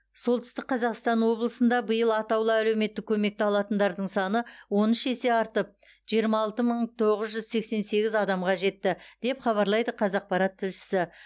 солтүстік қазақстан облысында биыл атаулы әлеуметтік көмекті алатындардың саны он үш есе артып жиырма алты мың тоғыз жүз сексен сегіз адамға жетті деп хабарлайды қазақпарат тілшісі